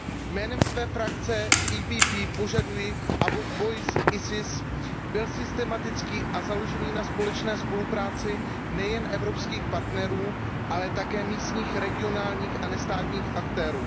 Jménem své frakce PPE požaduji, aby boj s IS byl systematický a založený na společné spolupráci nejen evropských partnerů, ale také místních, regionálních a nestátních aktérů.